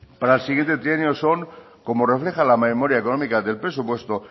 para el siguiente trienio son como refleja la memoria económica del presupuesto